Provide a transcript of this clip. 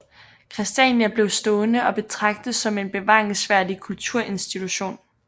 Christiania blev stående og betragtes som en bevaringsværdig kulturinstitution